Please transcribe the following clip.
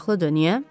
Maraqlıdır, niyə?